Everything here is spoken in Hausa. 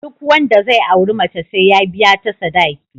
Duk wanda zai auri mace sai ya biya ta sadaki